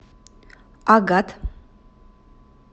агат